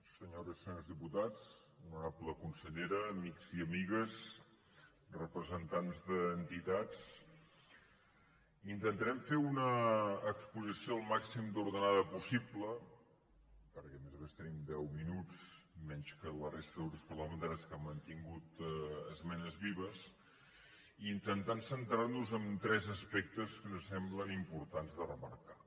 senyores i senyors diputats honorable consellera amics i amigues representants d’entitats intentarem fer una exposició al màxim d’ordenada possible perquè a més a més tenim deu minuts menys que la resta de grups parlamentaris que han mantingut esmenes vives i intentant centrar nos en tres aspectes que ens semblen importants de remarcar